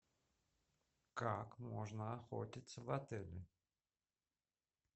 как можно охотиться в отеле